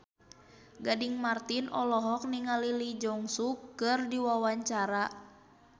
Gading Marten olohok ningali Lee Jeong Suk keur diwawancara